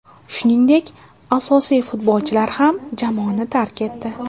Shuningdek, asosiy futbolchilar ham jamoani tark etdi.